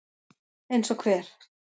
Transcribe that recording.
Eins og hver?